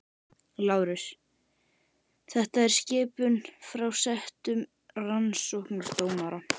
LÁRUS: Þetta er skipun frá settum rannsóknardómara.